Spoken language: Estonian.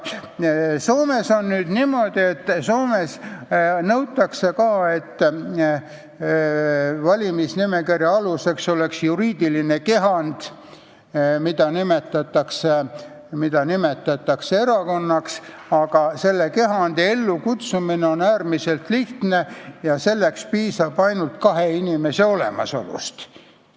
Soomes on niimoodi, et Soomes nõutakse ka, et valimisnimekirja aluseks oleks juriidiline kehand, mida nimetatakse erakonnaks, aga selle kehandi ellukutsumine on äärmiselt lihtne ja selleks piisab ainult kahest inimesest.